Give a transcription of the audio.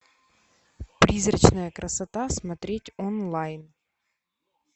призрачная красота смотреть онлайн